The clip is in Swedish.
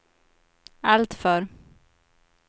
alltför